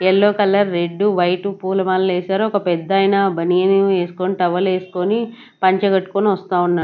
Yellow colour red white పూలమాలు వేశారు ఒక పెద్దాయన బనీను వేసుకొని టవల్ వేసుకుని పంచ కట్టుకొని వస్తా ఉన్నాడు.